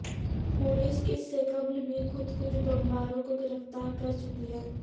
police اس سے قبل بھی خود کش بمباروں کوگرفتار کر چکی ہے